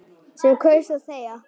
Sem kaus að þegja.